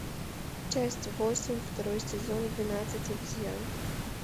часть восемь второй сезон двенадцать обезьян